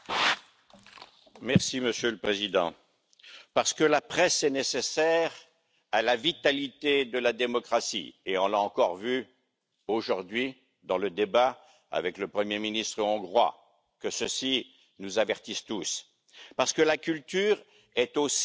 Monsieur le Président, parce que la presse est nécessaire à la vitalité de la démocratie et on l'a encore vu aujourd'hui dans le débat avec le Premier ministre hongrois que ceci nous avertisse tous parce que la culture est aussi une économie